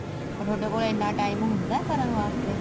ਪਰ ਤੁਹਾਡੇ ਕੋਲ ਇੰਨਾ time ਹੁੰਦਾ ਕਰਨ ਵਾਸਤੇ